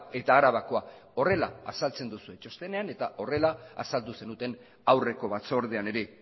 eta arabakoa horrela azaltzen duzue txostenean eta horrela azaldu zenuten aurreko batzordean ere